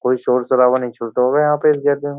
कोई शोर शराबा नहीं छूलता होगा यहाँ पे --